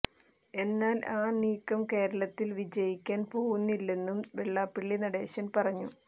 എന്നാൽ ആ നീക്കം കേരളത്തിൽ വിജയിക്കാൻ പോവുന്നില്ലെന്നും വെള്ളാപ്പള്ളി നടേശൻ പറഞ്ഞു